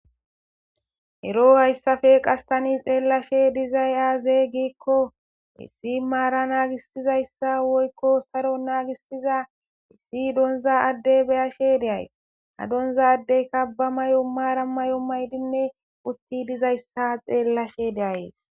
ero hayssafe qastani xeellashe dizay aazeeygikko issi maara naagisizayssa woykko saro naagisiza issi donza addey beyashe deays ha donza addey kabba may7o maara may7o maydinne utti dizayssa xeellashe deayes